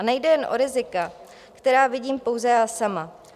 A nejde jen o rizika, která vidím pouze já sama.